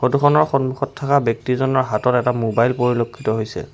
ফটোখনৰ সন্মুখত থকা ব্যক্তিজনৰ হাতত এটা মোবাইল পৰিলক্ষিত হৈছে।